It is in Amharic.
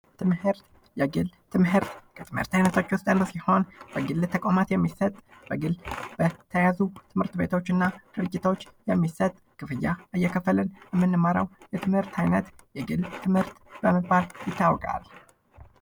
ትምህርት የግል ትምህርት፦ የግል ትምህርት ከትምህርት አይነቶች ውስጥ አንዱ ሲሆን በግል ተቋማት የሚሰጡ ፥ በግል በተያዙ ትምህርት ቤቶችና ተቋማቶች የሚሰጥ በክፍያ እየከፈልን የምንማረው የትምህርት አይነት የግል ትምህርት በመባል ይታወቃል።